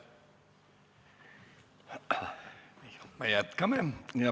Me jätkame.